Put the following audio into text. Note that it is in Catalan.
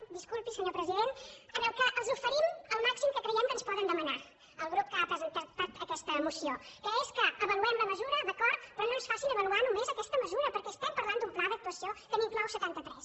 disculpi senyor president en què els oferim el màxim que creiem que ens poden demanar al grup que ha presentat aquesta moció que és que avaluem la mesura d’acord però no ens facin avaluar només aquesta mesura perquè estem parlant d’un pla d’actuació que n’inclou setanta tres